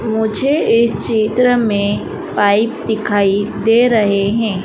मुझे इस चित्र में पाइप दिखाई दे रहे हैं।